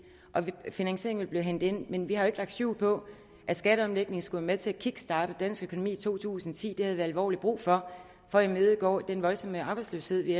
og finansieringen vil blive hentet ind men vi har jo ikke lagt skjul på at skatteomlægningen skulle være med til at kickstarte dansk økonomi i to tusind og ti det havde vi alvorligt brug for for at imødegå den voldsomme arbejdsløshed vi